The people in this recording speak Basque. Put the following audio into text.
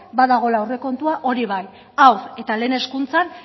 badagoela aurrekontua hori bai haur eta lehen hezkuntzan